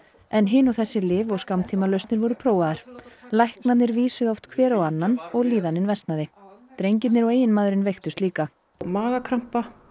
en hin og þessi lyf og skammtímalausnir voru prófaðar læknarnir vísuðu oft hver á annan og líðanin versnaði drengirnir og eiginmaðurinn veiktust líka magakrampa